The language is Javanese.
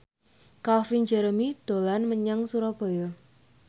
Calvin Jeremy dolan menyang Surabaya